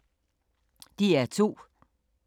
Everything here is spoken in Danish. DR2